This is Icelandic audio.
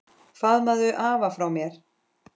Faðmaðu afa frá mér.